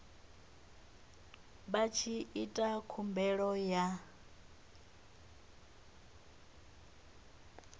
vha tshi ita khumbelo ya